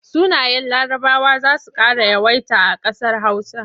Sunayen Larabawa za su ƙara yawaita a ƙasar Hausa.